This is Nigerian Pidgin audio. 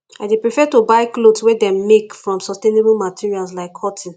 i dey prefer to buy clothes wey dem make from sustainable materials like cotton